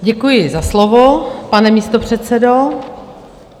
Děkuji za slovo, pane místopředsedo.